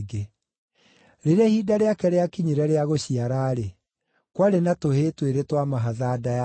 Rĩrĩa ihinda rĩake rĩakinyire rĩa gũciara-rĩ, kwarĩ na tũhĩĩ twĩrĩ twa mahatha nda yake.